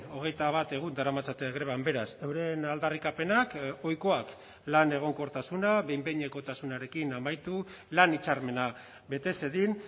hogeita bat egun daramatzate greban beraz euren aldarrikapenak ohikoak lan egonkortasuna behin behinekotasunarekin amaitu lan hitzarmena bete zedin